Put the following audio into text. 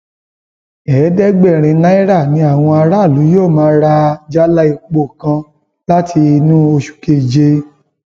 ẹẹdẹgbẹrin náírà ni àwọn aráàlú yóò máa rà jálá epo kan láti inú oṣù keje